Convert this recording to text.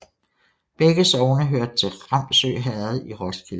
Begge sogne hørte til Ramsø Herred i Roskilde Amt